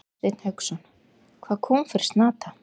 Hafsteinn Hauksson: Hvað kom fyrir Snata?